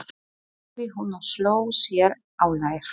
sagði hún og sló sér á lær.